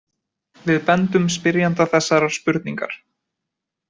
Við bendum spyrjanda þessarar spurningar.